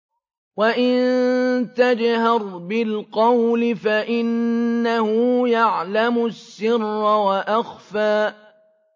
وَإِن تَجْهَرْ بِالْقَوْلِ فَإِنَّهُ يَعْلَمُ السِّرَّ وَأَخْفَى